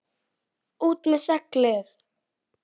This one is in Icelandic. ÚT MEÐ SEGLIÐ!